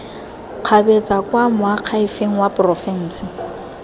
kgabetsa kwa moakhaefeng wa porofense